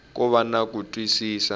ko va na ku twisisa